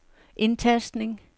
indtastning